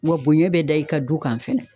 Wa bonɲɛ be da i kan du kan fɛnɛ.